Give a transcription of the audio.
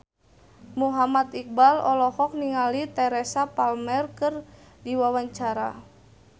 Muhammad Iqbal olohok ningali Teresa Palmer keur diwawancara